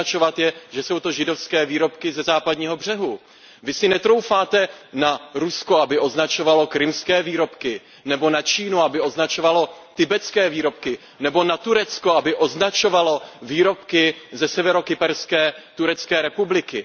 Označovat je, že jsou to židovské výrobky ze Západního břehu. Vy si netroufáte na Rusko, aby označovalo krymské výrobky, nebo na Čínu, aby označovala tibetské výrobky, nebo na Turecko, aby označovalo výrobky ze Severokyperské turecké republiky.